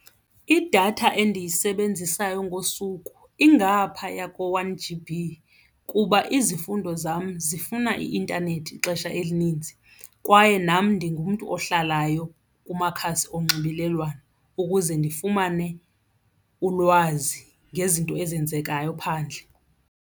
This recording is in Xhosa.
Idatha endiyisebenzisayo ngosuku ingaphaya ko-one G_B kuba izifundo zam zifuna i-intanethi ixesha elininzi kwaye nam ndingumntu ohlalayo kumakhasi onxibelelwano ukuze ndifumane ulwazi ngezinto ezenzekayo phandle.